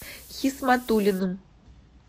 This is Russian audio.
хисматуллиным